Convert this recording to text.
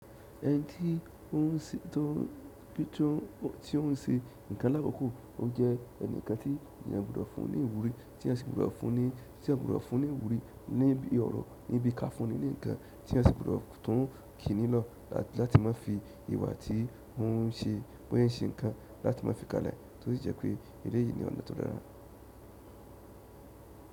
Ẹni tí ó ń ṣe nǹkan lákokò, ó jẹ́ ẹnìkan tí ènìyàn gbọ́dọ̀ fún un ní ìwúrí tí ẹyan sì gbọ́dọ̀ fún un ní ìwúrí, ní ibi ọ̀rọ̀, ní bí ka fún un ní ǹkan tí eyan sì gbọ́dọ̀ tuń kí nilọ lati ma fi ìwà ti o n se, bo se n se nkan láti ma fi kalẹ̀, to si je pe eleyi ni ọ̀nà to dára.